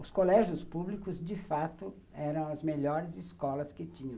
Os colégios públicos, de fato, eram as melhores escolas que tinham.